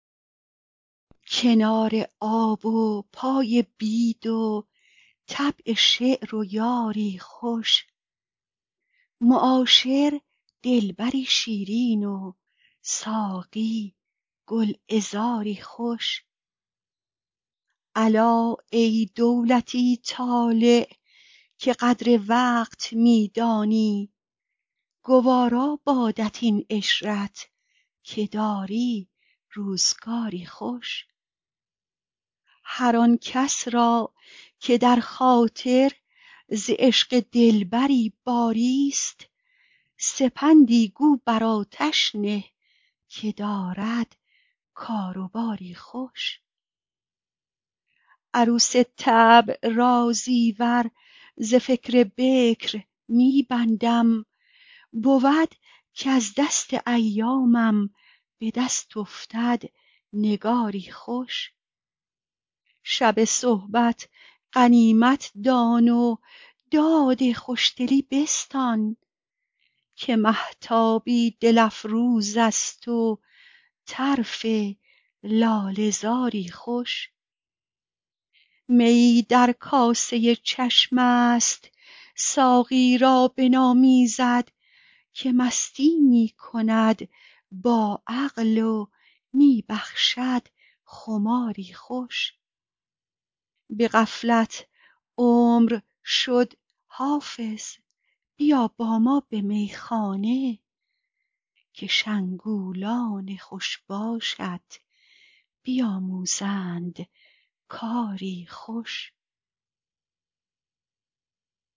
کنار آب و پای بید و طبع شعر و یاری خوش معاشر دلبری شیرین و ساقی گلعذاری خوش الا ای دولتی طالع که قدر وقت می دانی گوارا بادت این عشرت که داری روزگاری خوش هر آن کس را که در خاطر ز عشق دلبری باریست سپندی گو بر آتش نه که دارد کار و باری خوش عروس طبع را زیور ز فکر بکر می بندم بود کز دست ایامم به دست افتد نگاری خوش شب صحبت غنیمت دان و داد خوشدلی بستان که مهتابی دل افروز است و طرف لاله زاری خوش میی در کاسه چشم است ساقی را بنامیزد که مستی می کند با عقل و می بخشد خماری خوش به غفلت عمر شد حافظ بیا با ما به میخانه که شنگولان خوش باشت بیاموزند کاری خوش